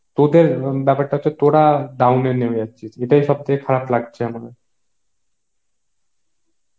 তোদের ব্যাপারটা হচ্ছে তোরা down এ নেমে যাচ্ছিস, এটাই সব থেকে খারাপ লাগছে আমার